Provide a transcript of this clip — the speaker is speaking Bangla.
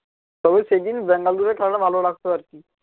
তবে সেইদিন ব্যাঙ্গালোরের খেলাটা ভালো লাগতো আর কি